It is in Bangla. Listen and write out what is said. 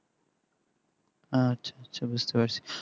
আচ্ছা আচ্ছা বুঝতে পারছি